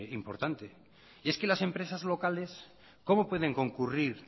importante es que las empresas locales cómo pueden concurrir